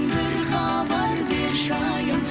бір хабар берші айым